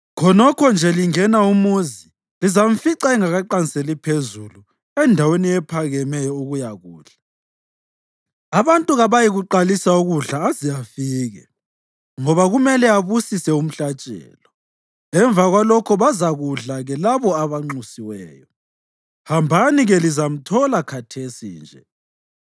Khonokho nje lingena umuzi, lizamfica engakaqanseli phezulu endaweni ephakemeyo ukuyakudla. Abantu kabayikuqalisa ukudla aze afike, ngoba kumele abusise umhlatshelo; emva kwalokho bazakudla-ke labo abanxusiweyo. Hambani-ke, lizamthola khathesi nje.”